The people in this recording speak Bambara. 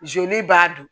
Joli b'a dun